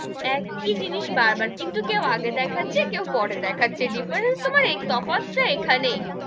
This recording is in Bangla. একই জিনিস বার বার, কিন্তু কেউ আগে দেখাচ্ছে, কেউ পরে দেখাচ্ছে different তোমার, তফাৎ তা এখানেই,